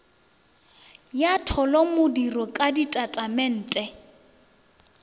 ya tholomodiro ka go ditatamente